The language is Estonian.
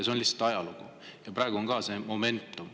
Selline lihtsalt ajalugu on ja praegu on ka selline momentum.